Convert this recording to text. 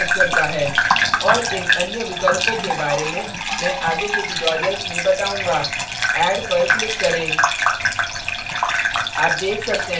और इन अन्य विकल्पों के बारे में मैं आगे के tutorials में बताऊंगा add पर click करें